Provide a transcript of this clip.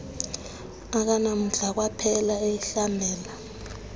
akanamdla waphela eyihlabela